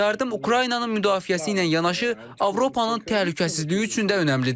Yardım Ukraynanın müdafiəsi ilə yanaşı, Avropanın təhlükəsizliyi üçün də önəmlidir.